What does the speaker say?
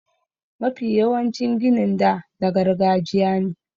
Mafi yawancin ginin da na gargajiya ne.